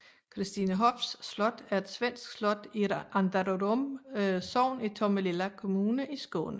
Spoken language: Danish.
Christinehofs slot er et svensk slot i Andrarum sogn i Tomelilla kommune i Skåne